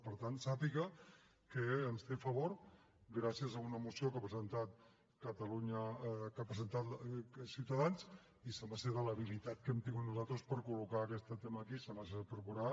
per tant sàpiga que ens té a favor gràcies a una moció que ha presentat ciutadans i sembla de l’habilitat que hem tingut nosaltres per col·locar aquest tema aquí com s’ha de procurar